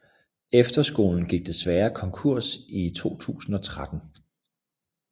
Efterskolen gik desværre konkurs i 2013